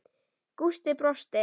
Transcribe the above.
Gústi brosti.